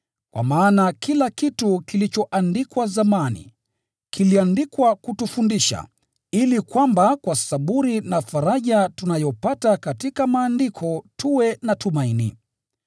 Kwa maana kila kitu kilichoandikwa zamani, kiliandikwa kutufundisha, ili kwamba kwa saburi na faraja tunayopata katika Maandiko tuwe na tumaini.